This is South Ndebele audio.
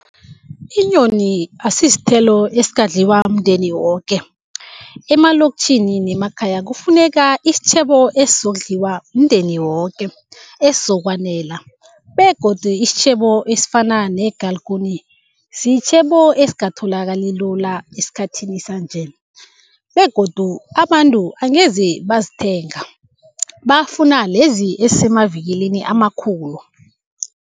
Inyoni asisithelo esingadliwa mndeni woke. Emaloktjhini nemakhaya kufuneka isitjhebo esizokudliwa mndeni woke, esizokwenzela begodu isitjhebo esifana negalikuni sitjhebo esingatholakali lula esikhathini sanje begodu abantu angeze bazithenga, bafuna lezi ezisemavikilini amakhulu.